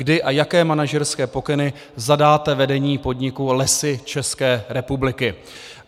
Kdy a jaké manažerské pokyny zadáte vedení podniku Lesy České republiky?